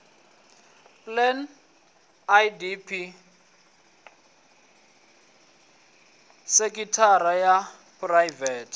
plan idp sekithara ya phuraivete